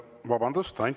Vabandust!